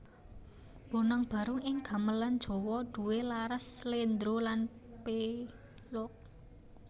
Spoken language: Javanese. Bonang Barung ing Gamelan Jawa duwé laras Sléndro lan Pélog